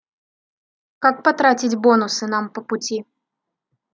как потратить бонусы нам по пути